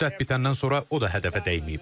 Müddət bitəndən sonra o da hədəfə dəyməyib.